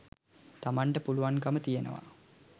තමන්ට පුළුවන්කම තියෙනවා.